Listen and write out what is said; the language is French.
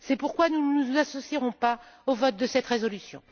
C'est pourquoi nous ne nous associerons pas au vote de cette résolution.